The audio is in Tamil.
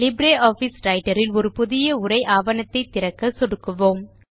லிப்ரியாஃபிஸ் ரைட்டர் இல் ஒரு புதிய உரை ஆவணத்தை திறக்க சொடுக்குவோம்